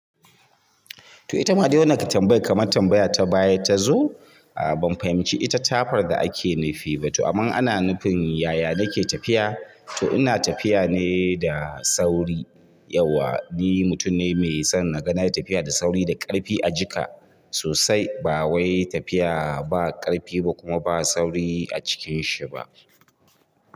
To ita ma adai wannan ka tambaya kamar tambaya ta bayar ta zo, a ban fahimci ita tafar da ake nufi ba. To aman ana nufin yaya nake tafiya, to ina tafiya ne da sauri. Yauwa ni mutum ne mai son na ganai tafiya da sauri da ƙarfi a jiƙa sosai. Ba wai tafiya ba ƙarfi ba kuma ba sauri a cikin shi ba.